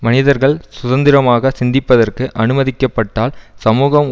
மனிதர்கள் சுதந்திரமாக சிந்திப்பதற்கு அனுமதிக்கப்பட்டால் சமூகம்